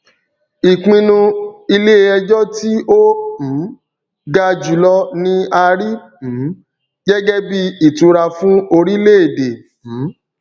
ìpinnu iléẹjọ tí ó um ga jùlọ ni a rí um gẹgẹ bíi ìtura fún orilẹèdè um